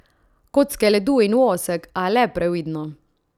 Kocke ledu in vosek, a le previdno.